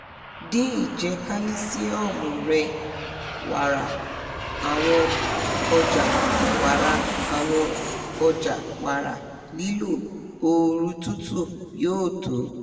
din ijẹ calcium rẹ wara àwọn ọja wara àwọn ọja wara] lilo ooru tutu yoo to